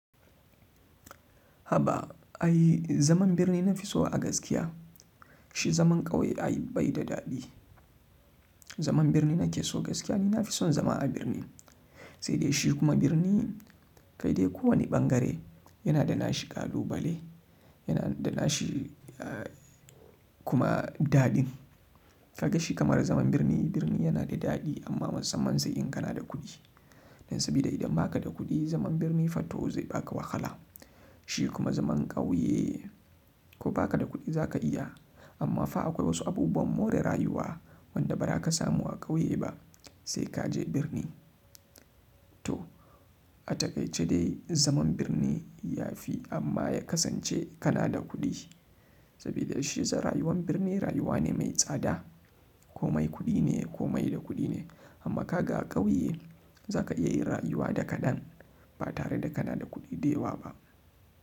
Haba ai zaman birni na fi so a gaskiya. Shi zaman ƙauye ai bai da daɗi. Zaman birni na ke so gaskiya ni na fi son zama a birni, sai dai shi kuma birni kai dai ko wani ɓangare yana da nashi ƙalubale, yana da nashi kuma daɗin. Kaga shi kamar zaman birni, birni yana da daɗi amma musamman sai in kana da kuɗi. Dan sabida idan baka da kuɗi zaman birni fato zai baka wahala. Shi kuma zaman ƙauye ko baka da kuɗi za ka iya amma fa akwai wasu abubuwan more rayuwa wanda ba za ka samu a ƙauye ba sai ka je birni. To a taƙaice dai zaman birni yafi amma ya kasance kanada kudi sabida shi rayuwar birni rayuwa ce mai tsada. Haba ai zaman birni na fi so a gaskiya. Zaka iya yin rayuwa da kaɗan batare da kana da kuɗi da yawa ba.